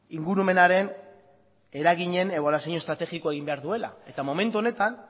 ingurumenaren eraginen ebaluazio estrategikoa egin behar duela eta momentu honetan